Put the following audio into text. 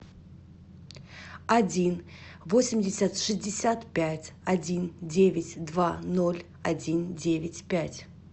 один восемьдесят шестьдесят пять один девять два ноль один девять пять